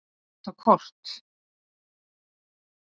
Að nota kort.